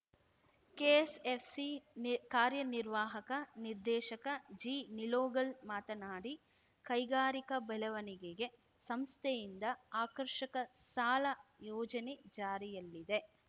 KSFC ನಿ ಕಾರ್ಯನಿರ್ವಾಹಕ ನಿರ್ದೇಶಕ ಜಿ ನಿಲೋಗಲ್‌ ಮಾತನಾಡಿ ಕೈಗಾರಿಕಾ ಬೆಳವಣಿಗೆಗೆ ಸಂಸ್ಥೆಯಿಂದ ಆಕರ್ಷಕ ಸಾಲ ಯೋಜನೆ ಜಾರಿಯಲ್ಲಿದೆ